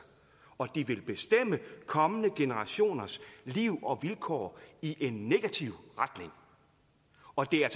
og de vil bestemme kommende generationers liv og vilkår i en negativ retning og det er